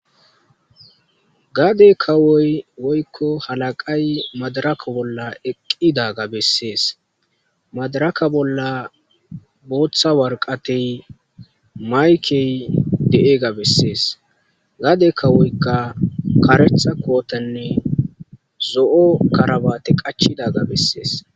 Gade kawoy woykko halaqay madaraka bolla eqqidaga bessees madaraka bolla booththa warqatey maykey de'ega bessees gade kawoyka karetha kootanne zo'o karabate qachidaga bessees